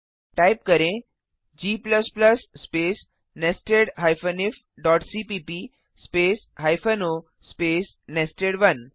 type करें160 g space nested ifसीपीप space o space nested